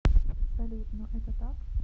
салют но это так